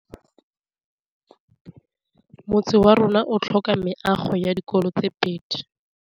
Motse warona o tlhoka meago ya dikolô tse pedi.